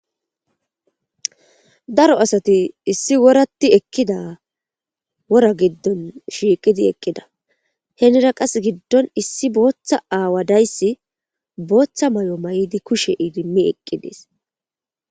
daro asati issi woratti ekida wora giddon shiiqidi eqqida henira qas giddon issi booththa aawadayssi booththa may7o may7idi kushe iidimmi eqqidees